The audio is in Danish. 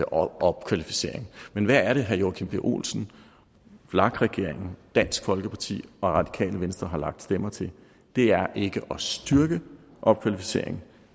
opkvalificering men hvad er det herre joachim b olsen vlak regeringen dansk folkeparti og radikale venstre har lagt stemmer til det er ikke at styrke opkvalificering